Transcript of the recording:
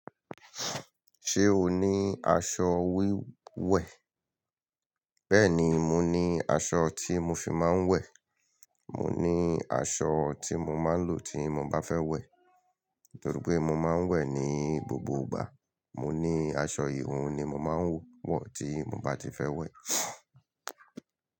Ṣé o ní aṣọ wíwẹ̀? Bẹ́ẹ̀ni, mo ní aṣọ tí mo fi máa ń wẹ̀. Mo ní aṣọ tí mo máa ń lò tí mo bá fẹ́ wẹ̀. Nítorí pé mo máa ń wẹ̀ ní gbogbo ìgbà. Mo ní aṣọ ìhun ni mo máa ń wọ̀ tí mo bá ti fẹ́ wẹ̀.